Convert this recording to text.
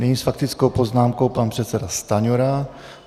Nyní s faktickou poznámkou pan předseda Stanjura.